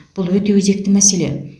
бұл өте өзекті мәселе